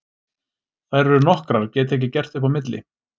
Þær eru nokkrar, get ekki gert upp á milli.